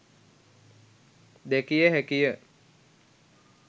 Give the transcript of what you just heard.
දැකිය හැකි ය.